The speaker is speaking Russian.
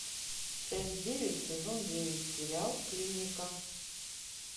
часть девять сезон девять сериал клиника